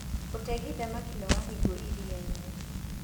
ũtegi thamaki nĩwahinguo iriainĩ.